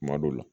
Kuma dɔw la